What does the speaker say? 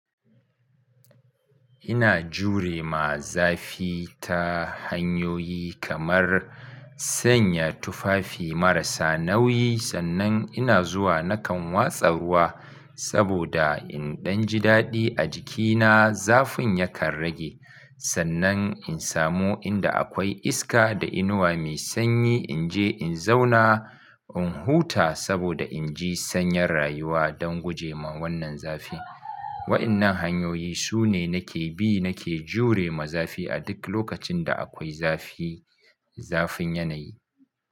Ina jure ma zafi ta hanyoyi kamar sanya tufafi marasa nauyi sannan ina zuwa nakan watsa ruwa saboda in ɗan ji daɗi a jikina zafin yakan rage. Sannan in samu inda akwai iska da inuwa mai sanyi in je in zauna, in huta saboda in ji sanyar rayuwa don gujema wannan zafi. Waɗannan hanyoyi su ne nake bi nake jure ma zafi a duk lokacin da akwai zafi, zafin yanayi.